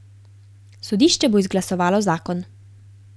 Sodišče bo izglasovalo zakon.